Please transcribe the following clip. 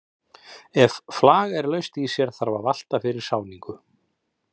Ef flag er laust í sér þarf að valta fyrir sáningu.